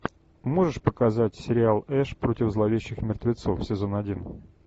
можешь показать сериал эш против зловещих мертвецов сезон один